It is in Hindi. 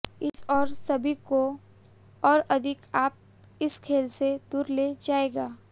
इस और सभी को और अधिक आप इस खेल से दूर ले जाएगा